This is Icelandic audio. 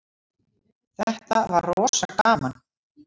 Þetta var rosa gaman.